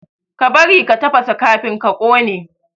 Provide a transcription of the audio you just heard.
Ka bari ka tafasa kafin ka kone!